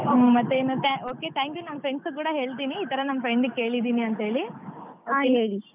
ಹ್ಮ್ ಮತ್ತೇನು than okay thank you ನಾನ್ friends ಕೂಡ ಹೇಳ್ತೀನಿ ಈತರ ನನ್ friend ಗ್ ಕೇಳಿದ್ದೀನಿ ಅಂತೇಳಿ .